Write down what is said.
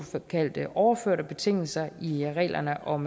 såkaldte overførte betingelser i reglerne om